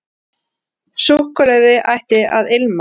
Súkkulaði ætti að ilma.